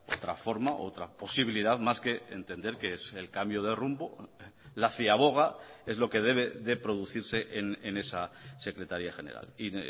otra forma otra posibilidad más que entender que es el cambio de rumbo la ciaboga es lo que debe de producirse en esa secretaría general y